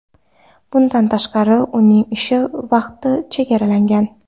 Bundan tashqari, uning ish vaqti chegaralangan.